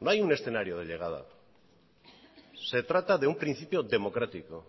no hay un escenario de llegada se trata de un principio democrático